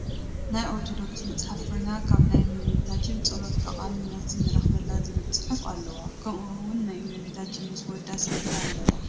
ናይ ኦርቶዶክስ መፅሓፍ ኮይና ካብ ናይ እመቤታችን ፀሎት ጠቃሚ መልሲ ንረክበላ ዝብል ፅሑፍ አለዋ ከምኡ ውን ናይ እመቤታችን ምስ ወዳ ስእሊ አለዎ፡፡